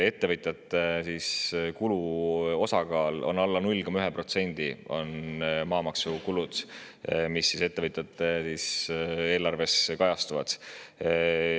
Ettevõtjate maamaksukulu osakaal on alla 0,1% sellest, mis ettevõtjate eelarves kajastub.